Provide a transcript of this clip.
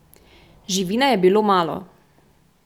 Živine je bilo malo.